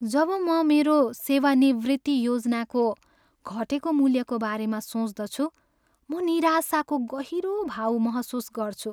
जब म मेरो सेवानिवृत्ति योजनाको घटेको मूल्यको बारेमा सोच्दछु म निराशाको गहिरो भाव महसुस गर्छु।